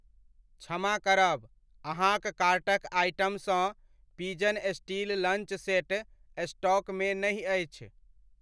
क्षमा करब, अहाँक कार्टक आइटमसँ पिजन स्टील लंच सेट स्टॉकमे नहि अछि।